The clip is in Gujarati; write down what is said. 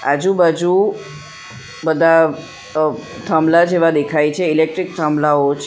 આજુબાજુ બધા થાંભલા જેવા દેખાય છે ઈલેક્ટ્રીક થાંભલાઓ છે.